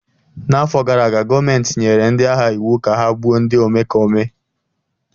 N'afọ gara aga, gọọmentị nyere ndị agha iwu ka ha gbuo ndị omekome!